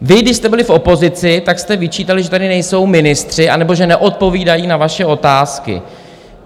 Vy, když jste byli v opozici, tak jste vyčítali, že tady nejsou ministři nebo že neodpovídají na vaše otázky.